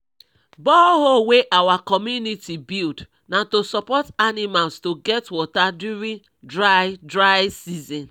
borehole wey our community build na to support animals to get water during dry dry season